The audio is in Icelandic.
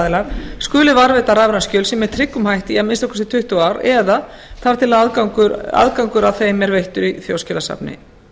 aðilar skuli varðveita rafræn skjöl sín með tryggum hætti í að minnsta kosti tuttugu ár eða þar til aðgangur að þeim er veittur í þjóðskjalasafni